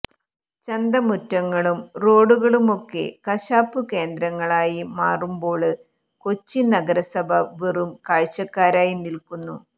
ചന്തമുറ്റങ്ങളും റോഡുകളുമൊക്കെ കശാപ്പു കേന്ദ്രങ്ങളായി മാറുമ്പോള് കൊച്ചി നഗരസഭ വെറും കാഴ്ചക്കാരായി നില്ക്കുന്നു